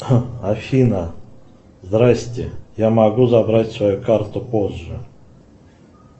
афина здрасьте я могу забрать свою карту позже